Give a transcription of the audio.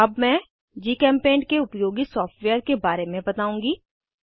अब मैं जीचेम्पेंट के उपयोगी सॉफ्टवेयर के बारे में बताउंगी